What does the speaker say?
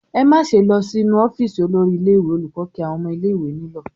"Ẹ má ṣe lọ sí inú ọ́fíísì olórí ilé-ìwé!" Olùkọ́ kí àwọn ọmọ ilé-ìwé nílọ̀.